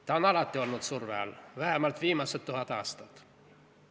Ta on alati olnud surve all, vähemalt viimased tuhat aastat.